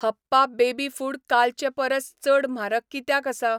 हप्पा baby food कालचे परस चड म्हारग कित्याक आसा?